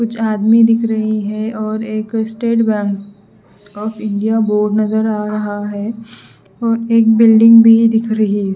कुछ आदमी दिख रही है और एक State Bank of India board नजर आ रहा है और एक बिल्डिंग भी दिख रही--